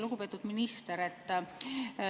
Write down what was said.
Lugupeetud minister!